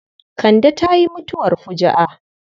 Kande ta yi mutuwar fuju'a.